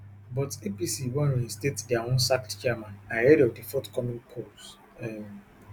but apc wan reinstate dia own sacked chairmen ahead of di forthcoming polls um